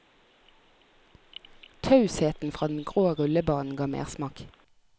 Tausheten fra den grå rullebanen ga mersmak.